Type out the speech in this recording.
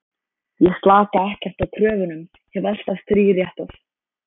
Ég slaka ekkert á kröfunum, hef alltaf þríréttað.